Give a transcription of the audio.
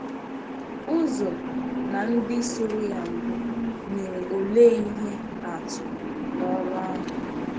Uzo na ndị soro ya mbụ nyere òlee ihe atụ n’ọrụ ahụ?